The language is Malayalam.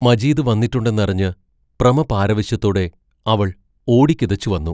മജീദ് വന്നിട്ടുണ്ടെന്നറിഞ്ഞ് പ്രമപാരവശ്യത്തോടെ അവൾ ഓടിക്കിതച്ചു വന്നു.